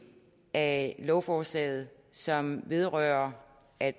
af forslaget som vedrører at